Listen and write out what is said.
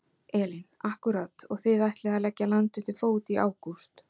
Elín: Akkúrat og þið ætlið að leggja land undir fót í ágúst?